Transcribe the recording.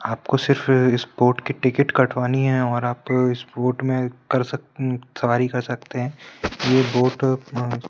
आप को सिर्फ स्पोर्ट की टिकट कटवानी है और आप स्पोर्ट में कर सकते सवारी कर सकते हैं ये बहोत--